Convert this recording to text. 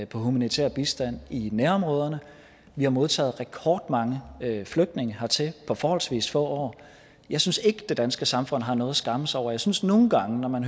på humanitær bistand i nærområderne vi har modtaget rekordmange flygtninge hertil på forholdsvis få år jeg synes ikke det danske samfund har noget at skamme sig over og jeg synes nogle gange når man